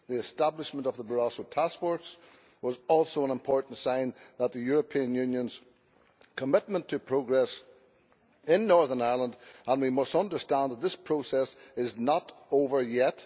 The establishment of the Barroso task force was also an important sign of the European Unionʼs commitment to progress in Northern Ireland and we must understand that this process is not over yet